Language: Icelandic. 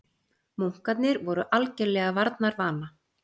Munkarnir voru algerlega varnarvana.